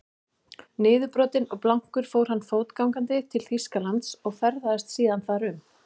Niðurbrotinn og blankur fór hann fótgangandi til Þýskalands og ferðaðist síðan þar um.